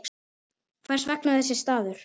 Hvers vegna þessi staður?